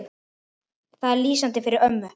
Það er lýsandi fyrir ömmu.